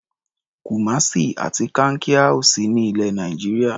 Kumasi àti Kankia ò sí ní ilẹ̀ Nàìjíríà.